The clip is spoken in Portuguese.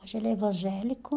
Hoje ele é evangélico.